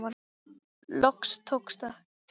Loks tókst það.